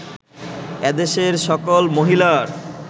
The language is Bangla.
এদেশের সকল মহিলার